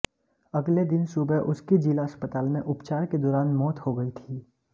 अगले दिन सुबह उसकी जिला अस्पताल में उपचार के दौरान मौत हो गई थी